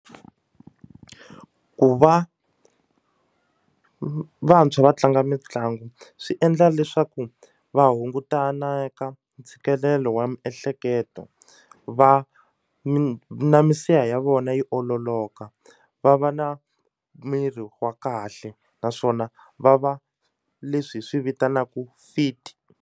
Ku va vantshwa va tlanga mitlangu swi endla leswaku va hungutana eka ntshikelelo wa miehleketo va na misiha ya vona yi ololoka va va na miri wa kahle naswona va va leswi hi swi vitanaku fit.